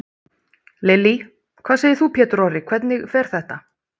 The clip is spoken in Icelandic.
Lillý: Hvað segir þú Pétur Orri, hvernig fer þetta?